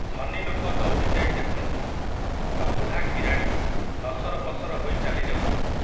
ଧନୀଲୋକ ଦୌଡ଼ିଯାଇ ଦେଖନ୍ତି, ତ ବୁଢ଼ା କିରାଣି ନସରପସର ହୋଇ ଚାଲିଯାଉଛନ୍ତି ।